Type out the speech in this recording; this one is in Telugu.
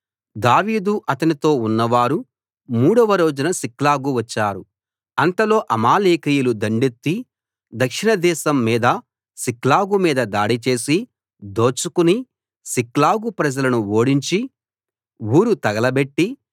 దావీదు అతనితో ఉన్నవారు మూడవ రోజున సిక్లగు వచ్చారు అంతలో అమాలేకీయులు దండెత్తి దక్షిణ దేశం మీదా సిక్లగు మీదా దాడిచేసి దోచుకుని సిక్లగు ప్రజలను ఓడించి ఊరు తగలబెట్టి